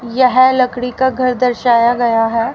यह लकड़ी का घर दर्शाया गया है।